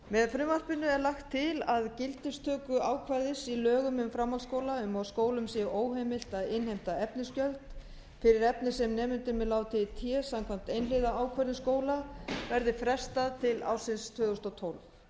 með frumvarpinu er lagt til að gildistöku ákvæðis í lögum um framhaldsskóla um að skólum sé óheimilt að innheimta efnisgjöld fyrir efni sem nemendum er látið í té samkvæmt einhliða ákvörðun skóla verði frestað til ársins tvö þúsund og tólf